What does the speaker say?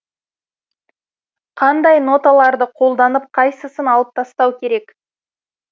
қандай ноталарды қолданып қайсысын алып тастау керек